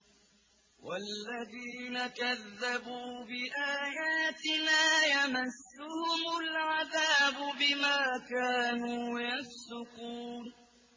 وَالَّذِينَ كَذَّبُوا بِآيَاتِنَا يَمَسُّهُمُ الْعَذَابُ بِمَا كَانُوا يَفْسُقُونَ